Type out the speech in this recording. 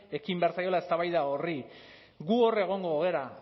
ekin behar zaiola eztabaida horri gu hor egongo gara